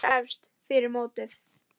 Þau voru efst fyrir mótið.